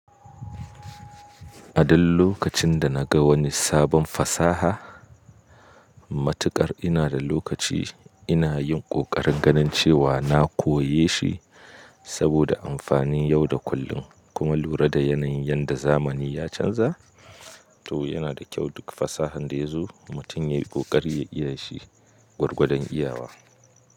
A duk lokacin da naga wani sabon fasaha, matuƙar ina da lokaci inayin kokarin ganin cewa na koyeshi saboda amfanin yau da kullum kuma lura da yanayin yadda zamani ya canza. To yana da kyau duk fasahan da yazo mutum yayi ƙoƙari ya iyashi gwargwadon iyawa.